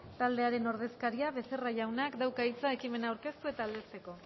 taldearen ordezkaria becerra jaunak da hitza ekimena aurkeztu eta aldezteko